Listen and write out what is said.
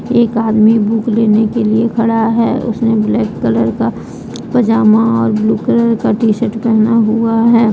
एक आदमी बुक लेने के लिए खड़ा है उसने ब्लैक कलर का पजामा और ब्लू कलर का टी शर्ट पहना हुआ है ।